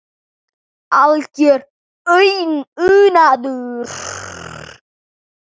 Algjör unaður.